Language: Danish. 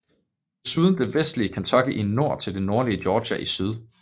Desuden det vestlige Kentucky i nord til det nordlige Georgia i syd